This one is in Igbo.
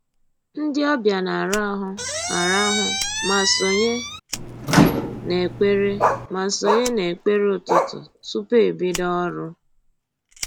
Ndị ọbịa na-arahụ arahụ ma sonye n'ekpere ma sonye n'ekpere ụtụtụ tupu e bido ọrụ